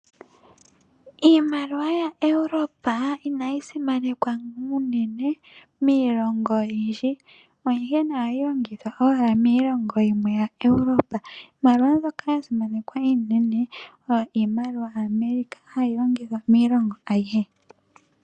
Iimaliwa ya Europe inayi simanekwa uunene miilongo oyindji, onkene ohayi longithwa ashike miilongo yimwe ya Europe. Iimaliwa mbyoka ya simanekwa uunene, iimaliwa ya America mbyoka hayi longithwa miilongo ayihe.